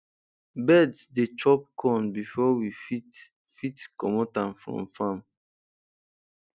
birds dey chop corn before we fit fit commot am from farm